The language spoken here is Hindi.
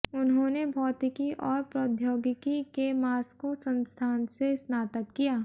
उन्होंने भौतिकी और प्रौद्योगिकी के मास्को संस्थान से स्नातक किया